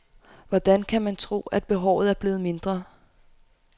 Hvordan kan man tro, at behovet er blevet mindre.